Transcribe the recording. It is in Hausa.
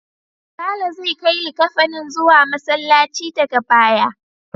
Sale zai kai likkafanin zuwa Masallaci daga baya.